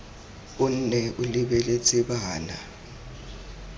o nne o lebeletse bana